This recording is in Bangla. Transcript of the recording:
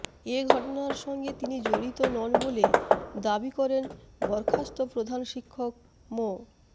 এ ঘটনার সঙ্গে তিনি জড়িত নন বলে দাবি করেন বরখাস্ত প্রধান শিক্ষক মো